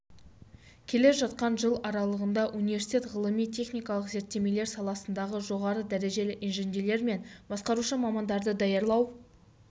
келе жатқан жыл аралығында университет ғылыми-техникалық зерттемелер саласындағы жоғары дәрежелі инженерлер мен басқарушы мамандарды даярлау